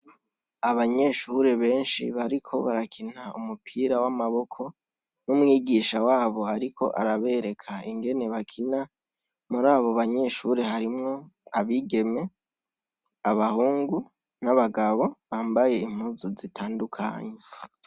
Abanyeshure benshi bariko barakina umupira w' amaboko, n' umwigisha wabo ariko arabereka ingene bakina, murabo banyeshure harimwo abigeme, abahungu n' abagabo bambaye impuzu zitandukanye.